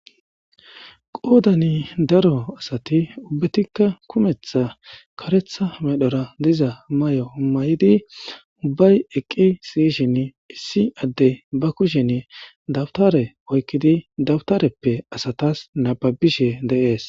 Qodani daro asati ubatika botha karetha medhora diza mayo mayidi ubayi eqi utidine issi adey ba kushan dawutare oyikidi dawutarepe asatas nababishe de'es